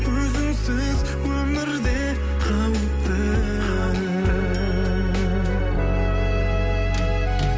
өзіңсіз өмірде қауіпті